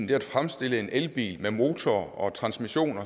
det at fremstille en elbil med motor og transmission